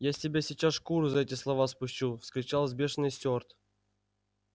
я с тебя сейчас шкуру за эти слова спущу вскричал взбешённый стюарт